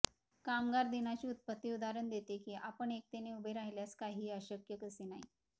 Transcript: कामगार दिनाची उत्पत्ती उदाहरण देते की आपण एकतेने उभे राहिल्यास काहीही अशक्य कसे नाही